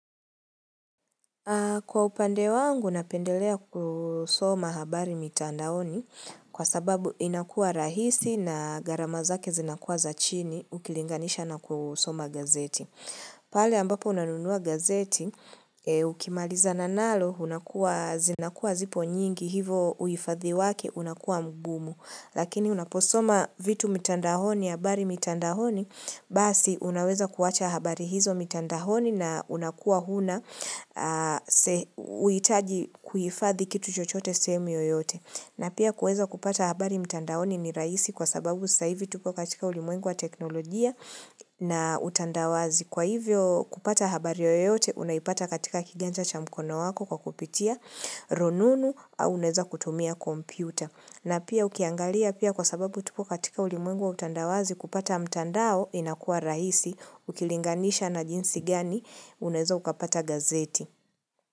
Kwa upande wangu, napendelea kusoma habari mitandaoni kwa sababu inakua rahisi na gharama zake zinakua za chini ukilinganisha na kusoma gazeti. Pale ambapo unanunua gazeti, ukimaliza na nalo, zinakua zipo nyingi hivo uifadhiwaki unakua mgumu. Lakini unaposoma vitu mitandahoni, habari mitandahoni, basi unaweza kuwacha habari hizo mitandahoni na unakua huna uitaji kuhifadhi kitu chochote sehemu oyote. Na pia kuweza kupata habari mitandahoni ni rahisi kwa sababu sai hizi tuko katika ulimwengu teknolojia na utandawazi. Kwa hivyo kupata habari yoyote, unaipata katika kiganja cha mkono wako kwa kupitia, rununu, au uneza kutumia kompyuta. Na pia ukiangalia pia kwa sababu tupu katika ulimengu wa utandawazi kupata mtandao inakua rahisi ukilinganisha na jinsi gani unezo ukapata gazeti.